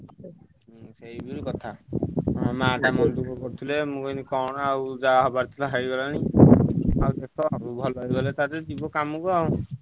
ହୁଁ ସେଇ ହଉଛି କଥା ତା ମା ମନ ଦୁଃଖ କରୁଥିଲେ କଣ କରିବା ଯାହା ହବାର କଥା ହେଲା ହେଇଗଲାଣି ଭଲ ହେଇଗଲେ ଯିବ କାମ କୁ ଆଉ।